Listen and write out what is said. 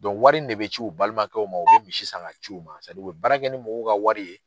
wari in de bɛ ci u balimakɛw ma o bɛ misi san k'a ci u ma u bɛ baarakɛ ni mɔgɔw ka wari ye.